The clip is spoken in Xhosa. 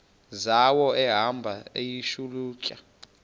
zawo ehamba eyihlalutya